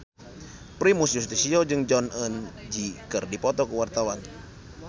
Primus Yustisio jeung Jong Eun Ji keur dipoto ku wartawan